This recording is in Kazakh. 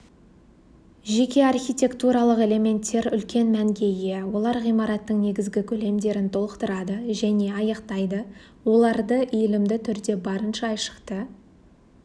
жеке архитектуралық элементтер үлкен мәнге ие олар ғимараттың негізгі көлемдерін толықтырады және аяқтайды оларды иілімді түрде барынша айшықты